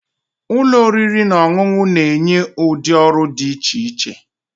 Ụlọ oriri na ọṅụṅụ na-enye ụdị ọrụ dị iche iche